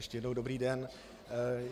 Ještě jednou dobrý den.